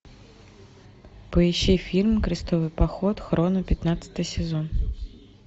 поищи фильм крестовый поход хроно пятнадцатый сезон